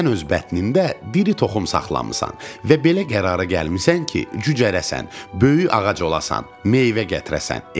Sən öz bətnində diri toxum saxlamısan və belə qərara gəlmisən ki, cücərəsan, böyük ağac olasan, meyvə gətirəsən.